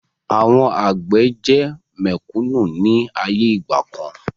Àwọn àgbẹ̀ jẹ́ mẹ̀kúnnù ni ayé ìgbàkan